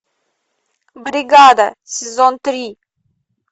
бригада сезон три